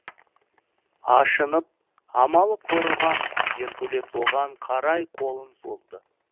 ашынып амалы құрыған геркулес оған қарай қолын созды